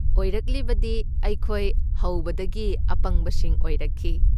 ꯑꯣꯏꯔꯛꯂꯤꯕꯗꯤ, ꯑꯩꯈꯣꯏ ꯍꯧꯕꯗꯒꯤ ꯑꯄꯪꯕꯁꯤꯡ ꯑꯣꯏꯔꯛꯈꯤ,